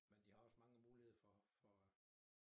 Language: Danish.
Men de har også mange muligheder for for at